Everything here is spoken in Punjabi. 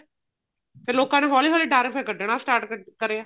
ਫੇਰ ਲੋਕਾ ਨੂੰ ਹੋਲੀ ਹੋਲੀ ਡਰ ਫੇਰ ਕੱਡਣਾ start ਕਰਿਆ